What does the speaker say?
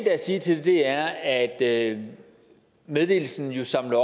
er at sige til det er at meddelelsen jo samler